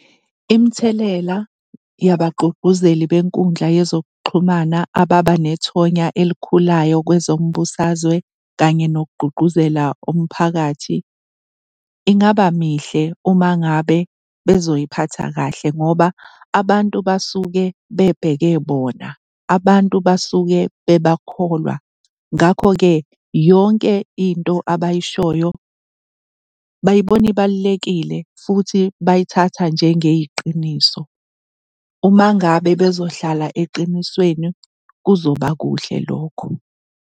Imithelela yebagqugquzeli benkundla yezokuxhumana ababa nethonya elikhulayo kwezombusazwe kanye nokugqugquzela umphakathi ingaba mihle uma ngabe bezoy'phatha kahle ngoba abantu basuke bebheke bona, abantu basuke bebakholwa. Ngakho-ke, yonke into abayishoyo bayibona ibalulekile futhi bayithatha njengeyiqiniso. Uma ngabe bezohlala eqinisweni kuzoba kuhle lokho.